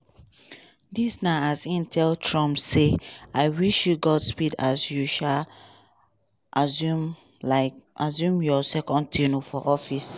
dis na as e tell trump say "i wish you godspeed as you um assume um assume your second term for office".